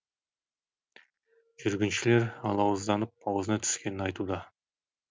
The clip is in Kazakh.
жүргіншілер алауызданып аузына түскенін айтуда